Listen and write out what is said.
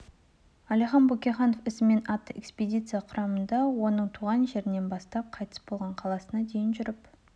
әлихан бөкейханов ізімен атты экспедиция құрамында оның туған жерінен бастап қайтыс болған қаласына дейін жүріп